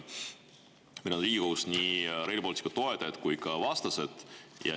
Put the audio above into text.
Meil on Riigikogus nii Rail Balticu toetajad kui ka vastased.